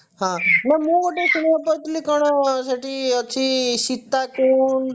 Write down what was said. ହଁ ନା ମୁଁ ଗୋଟେ ଶୁଣିବାକୁ ପାଉଥିଲି କଣ ସେଠି ଅଛି କଣ ଗୋଟେ ସୀତାକୁଣ୍ଡ